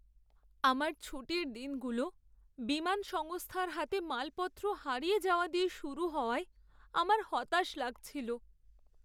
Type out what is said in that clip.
আমার ছুটির দিনগুলো বিমান সংস্থার হাতে মালপত্র হারিয়ে যাওয়া দিয়ে শুরু হওয়ায় আমার হতাশ লাগছিল।